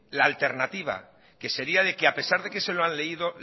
la alternativa que sería de que a pesar de que se lo han leído